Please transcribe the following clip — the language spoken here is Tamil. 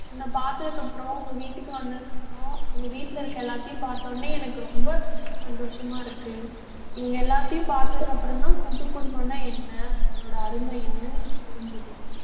உன்னை பார்த்ததுக்கு அப்புறம் உங்க வீட்டுக்கு வந்ததுக்கு அப்புறம் உங்க வீட்டில இருக்கிற எல்லாத்தையும் பார்த்த உடனே எனக்கு ரொம்ப சந்தோஷமா இருக்கு. இவங்க எல்லாத்தையும் பார்த்ததுக்கு அப்புறம்தான் கூட்டு குடும்பம்னா என்ன அதோட அருமை என்னன்னு எனக்கு புரிஞ்சுது.